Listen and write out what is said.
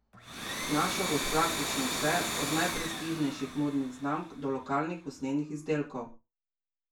Našel boš praktično vse, od najprestižnejših modnih znamk, do lokalnih usnjenih izdelkov.